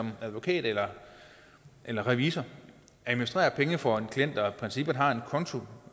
en advokat eller eller revisor administrerer penge for en klient og i princippet har en konto